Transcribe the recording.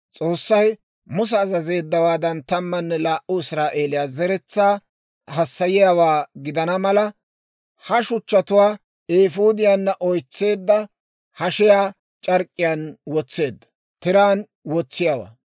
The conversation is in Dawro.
S'oossay Musa azazeeddawaadan, tammanne laa"u Israa'eeliyaa zeretsaa hassayiyaawaa gidana mala, ha shuchchatuwaa eefuudiyaanna oytseedda hashiyaa c'ark'k'iyaan wotseedda.